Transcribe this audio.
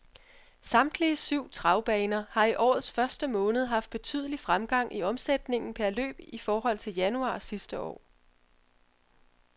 Samtlige syv travbaner har i årets første måned haft betydelig fremgang i omsætningen per løb i forhold til januar sidste år.